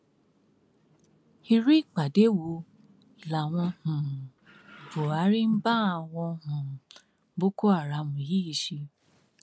irú ìpàdé wo làwọn um buhari ń bá àwọn um boko haram yìí ṣe